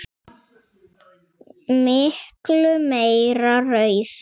Miklu meira raunar.